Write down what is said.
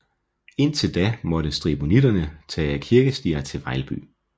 Indtil da måtte stribonitterne tage ad kirkestier til Vejlby